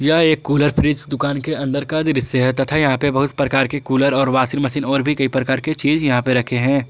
यह एक cooler fridge दुकान के अंदर का दृश्य है तथा यहां पे बहुत प्रकार की कूलर और वाशिंग मशीन और भी कई प्रकार के चीज यहां पे रखे हैं।